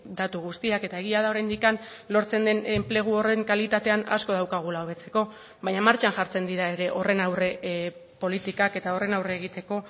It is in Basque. datu guztiak eta egia da oraindik lortzen den enplegu horren kalitatean asko daukagula hobetzeko baina martxan jartzen dira ere horren aurre politikak eta horren aurre egiteko